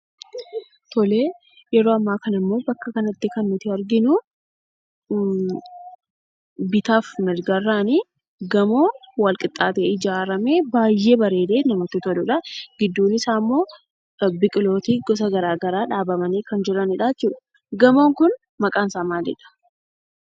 Tole yeroo ammaa kana immoo bakka kanatti kan nuti arginu, bitaa fi mirgarraan gamoo walqixxaatee ijaaramee, baay'ee bareedee , namatti toluudha. Gidduun isaammoo biqiloonni gosa garaagaraa dhaabamanii kan jiraniidha jechuudha. Gamoon kun maqaan isaa maalidha?